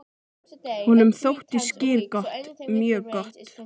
Honum þótti skyr gott, mjög gott.